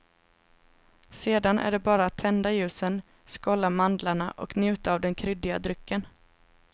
Sedan är det bara att tända ljusen, skålla mandlarna och njuta av den kryddiga drycken.